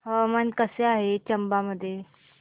हवामान कसे आहे चंबा मध्ये